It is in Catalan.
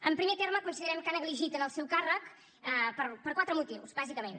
en primer terme considerem que ha negligit en el seu càrrec per quatre motius bàsicament